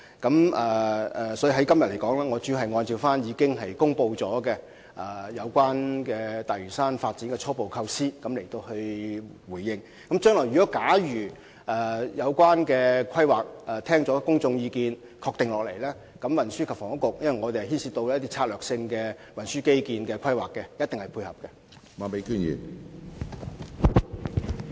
我今天主要會就已公布的大嶼山發展初部構思作回應，但若有關規劃在聽取公眾意見後獲得肯定，運輸及房屋局——因為本局也會參與策略性運輸基建規劃——一定會予以配合。